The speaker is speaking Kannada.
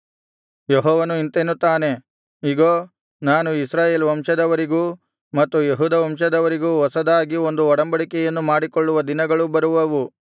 ಯೆಹೋವನು ಇಂತೆನ್ನುತ್ತಾನೆ ಇಗೋ ನಾನು ಇಸ್ರಾಯೇಲ್ ವಂಶದವರೊಂದಿಗೂ ಮತ್ತು ಯೆಹೂದ ವಂಶದವರೊಂದಿಗೂ ಹೊಸದಾಗಿರುವ ಒಂದು ಒಡಂಬಡಿಕೆಯನ್ನು ಮಾಡಿಕೊಳ್ಳುವ ದಿನಗಳು ಬರುವವು